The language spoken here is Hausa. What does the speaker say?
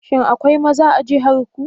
Shin akwai maza a jihar ku?